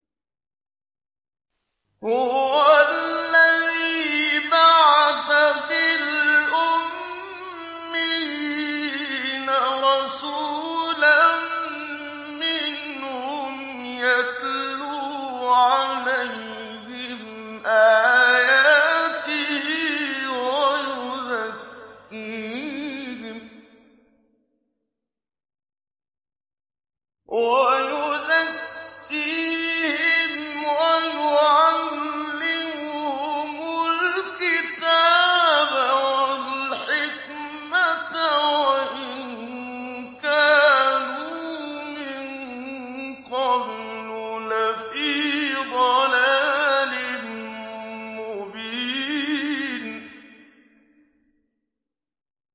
هُوَ الَّذِي بَعَثَ فِي الْأُمِّيِّينَ رَسُولًا مِّنْهُمْ يَتْلُو عَلَيْهِمْ آيَاتِهِ وَيُزَكِّيهِمْ وَيُعَلِّمُهُمُ الْكِتَابَ وَالْحِكْمَةَ وَإِن كَانُوا مِن قَبْلُ لَفِي ضَلَالٍ مُّبِينٍ